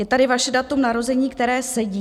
Je tady vaše datum narození, které sedí.